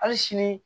Hali sini